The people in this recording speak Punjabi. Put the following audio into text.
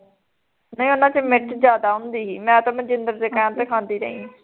ਨਹੀਂ ਉਹਨਾਂ ਚ ਮਿਰਚ ਜਿਆਦਾ ਹੁੰਦੀ ਸੀ ਮੈਂ ਤਾਂ ਮਨਜਿੰਦਰ ਦੇ ਕਹਿਣ ਤੇ ਖਾਂਦੀ ਰਹੀ